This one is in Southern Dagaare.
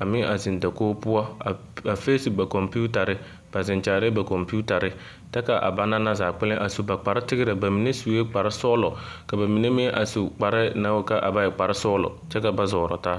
a meŋ a zeŋ dakogi poɔ a feesi ba kɔmpiitare, ba zeŋ kyaarɛɛ ba kɔmpiitare ta k'a banaŋ na zaa kpɛlɛŋ a su ba kpare tigerɛ, bamine sue kpare sɔgelɔ ka bamine meŋ a su kpare naŋ wuli ka a ba e kpare sɔgelɔ kyɛ ka ba zɔɔrɔ taa.